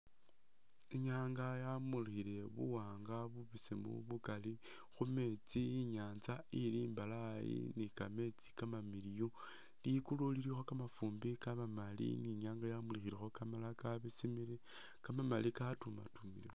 Inyanga yamulikhile bubesemu bukaali khumeetsi inyanza ili imbalayi ni kameetsi kamamiliyu, likulu lilikho kamafumbi kamamaali inyanga yamulikhilekho kamalala kabesemilekho kamamaali katumitumilemo